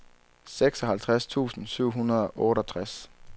seksoghalvtreds tusind syv hundrede og otteogtres